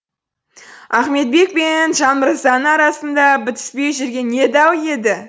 ахметбек пен жанмырзаның арасында бітіспей жүрген не дау еді